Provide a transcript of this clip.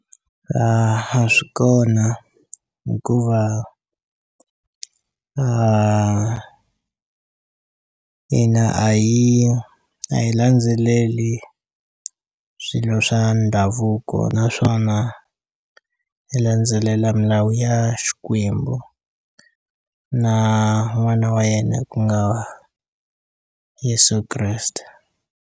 A swi kona hikuva hina a hi a hi landzeleli swilo swa ndhavuko naswona hi landzelela milawu ya Xikwembu na n'wana wa yena ku nga Yeso Kreste.